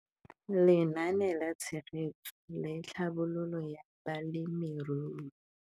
Lenaane la Tshegetso le Tlhabololo ya Balemirui